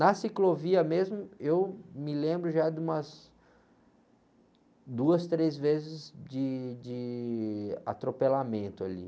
Na ciclovia mesmo, eu me lembro já de umas duas, três vezes de, de atropelamento ali.